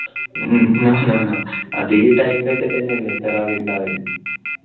no no അത് ഈ time ൽ ഒക്കെ തന്നെ അല്ലെ ഉണ്ടാവല്.